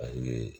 A ye